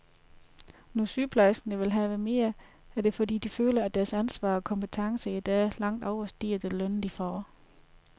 Når sygeplejerskerne vil have mere, er det fordi de føler, at deres ansvar og kompetence i dag langt overstiger den løn, de får.